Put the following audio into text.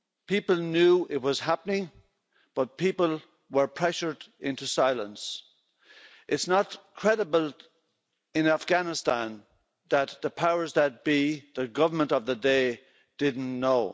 People knew it was happening, but people were pressured into silence. It's not credible in Afghanistan that the powers that be, the government of the day, didn't know.